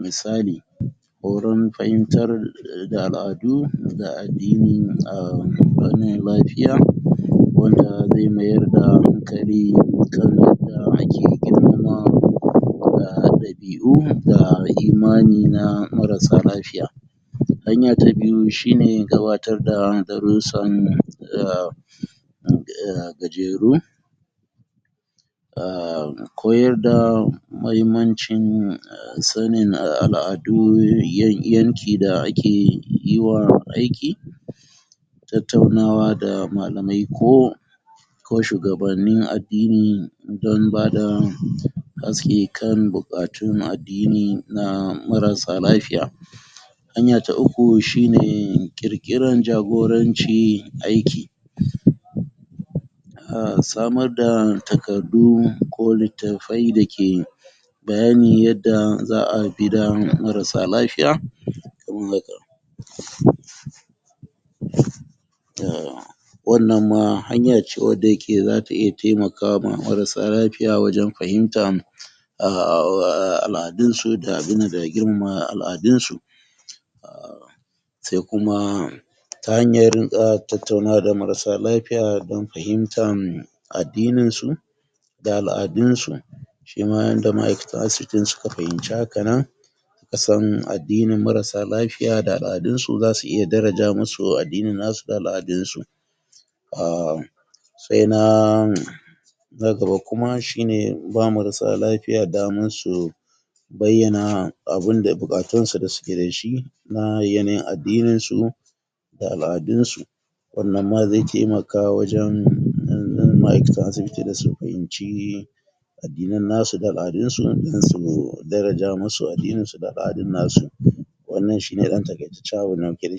misali horon fahimtar da al'adu da addini a fannin lafiya wanda ze mayar da hankali kan yanda ake girmama da ɗabi'un da imani na marasa lafiya hanya ta biyu shi ne gabatar da darussan da da gajeru um koyar da mahimmancin sanin al'adu yanki da ake yi wa aiki tattaunawa da malamai ko ko shugabannin addini don ba da haske kan buƙatun addini na marasa lafiya hanya ta uku shi ne ƙirƙiran jagoranci aiki a samar da takaddu ko littafai dake bayani yadda za a bi da marasa lafiya kaman haka um wannan ma hanya ce wadda yake za ta iya temakama marasa lafiya wajen fahimtan? al'adunsu da abin nan da girmama al'adunsu um se kuma ta hanyar um tattaunawa da marasa lafiya don fahimtan addininsu da al'adunsu shi ma yanda ma'aikatan asibitin su ka fahimci haka nan ka san addinin marasa lafiya da al'adunsu za su iya daraja musu addinin nasu da al'adunsu um se na um na gaba kuma shi ne ba marasa lafiya daman su bayyana abin da buƙatunsu da suke da shi na yanayin addininsu da al'adunsu wannan nan ma ze temaka wajen ma'aikatan asibiti da su fahimci addinan nasu da al'adunsu don su daraja musu addininsu da al'adun nasu wannan shi ne ɗan taƙaitaccen abin da muke da shi